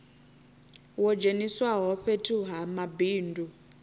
wo dzheniswaho fhethu ha mabindu